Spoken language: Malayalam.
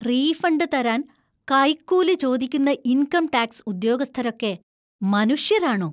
റീഫണ്ട് തരാന്‍ കൈക്കൂലി ചോദിക്കുന്ന ഇന്‍കം ടാക്സ് ഉദ്യോഗസ്ഥരൊക്കെ മനുഷ്യരാണോ?